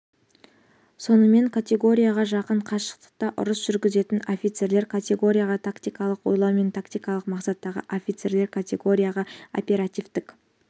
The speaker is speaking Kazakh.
сонымен категорияға жақын қашықтықта ұрыс жүргізетін офицерлер категорияға тактикалық ойлау мен тактикалық мақсаттағы офицерлер категорияға оперативтік